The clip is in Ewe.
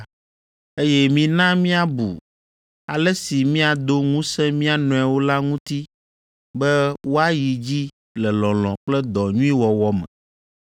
Eye mina míabu ale si míado ŋusẽ mía nɔewo la ŋuti be woayi dzi le lɔlɔ̃ kple dɔ nyui wɔwɔ me.